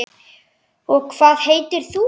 Og hvað heitir þú?